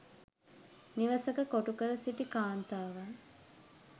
නිවසක කොටු කර සිටි කාන්තාවන්